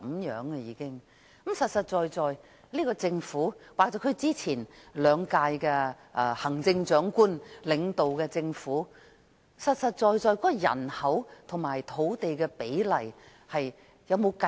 現屆政府或前兩任行政長官領導的政府，有否清楚計算出人口和土地比例？